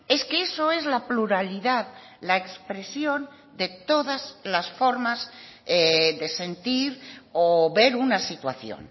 es que eso es la pluralidad la expresión de todas las formas de sentir o ver una situación